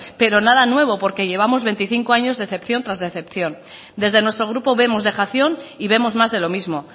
pero nada nuevo porque llevamos veinticinco años decepción tras decepción desde nuestro grupo vemos dejación y vemos más de lo mismo